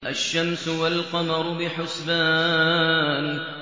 الشَّمْسُ وَالْقَمَرُ بِحُسْبَانٍ